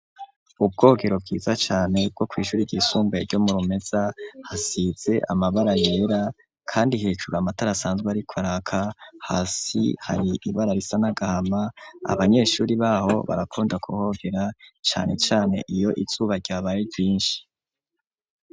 Ubwogero, bwiza cane, bwo kw'ishuri ryisumbuye, ryo mu Rumeza; hasize amabara yera, kandi hejuru, amatara asanzwe ariko araka; hasi hari ibara risa n'agahama; abanyeshuri b'aho, barakunda kuhogera, cane cane, iyo izuba, ryabaye ryinshi.